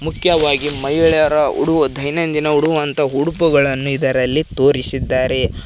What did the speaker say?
ಮುಖ್ಯವಾಗಿ ಮಹಿಳೆಯರ ಉಡು ದೈನಂದಿನ ಉಡುವಂತಹ ಉಡುಪುಗಳನ್ನು ಇದರಲ್ಲಿ ತೋರಿಸಿದ್ದಾರೆ.